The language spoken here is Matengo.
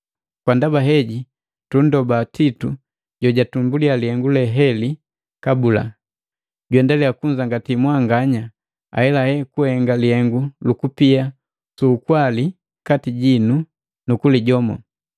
Kwa ndaba heji, tundoba Titu jojatumbuliya lihengu le heli kabula, juendaliya kwajangati mwanganya ahelale kuhenga lihengu lukupia suukwali kati jinu nukulijomo.